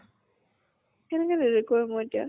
কেনেকে delete কৰিম মই এতিয়া?